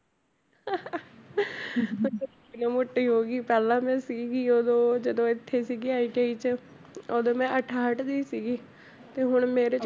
ਮੋਟੀ ਹੋ ਗਈ ਪਹਿਲਾਂ ਮੈਂ ਸੀਗੀ ਉਦੋਂ ਜਦੋਂ ਇੱਥੇ ਸੀਗੀ ITI 'ਚ ਉਦੋਂ ਮੈਂ ਅਠਾਹਠ ਦੀ ਸੀਗੀ ਤੇ ਹੁਣ ਮੇਰੀ